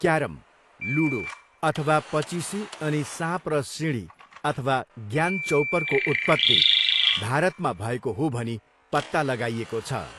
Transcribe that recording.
Carrom, ludo अथवा पचिसी अनि साँप र सिँढी अथवा ज्ञान चौपरको उत्पत्ति भारतमा भएको हो भनी पत्ता लगाइएको छ।